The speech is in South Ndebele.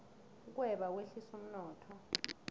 ukweba kwehlisa umnotho